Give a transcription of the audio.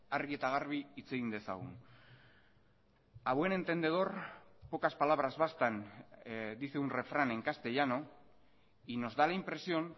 argi eta garbi hitz egin dezagun a buen entendedor pocas palabras bastan dice un refrán en castellano y nos da la impresión